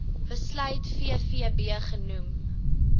besluit vvb genoem